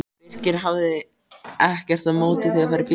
Birkir hafði ekkert á móti því að fara í bíltúr.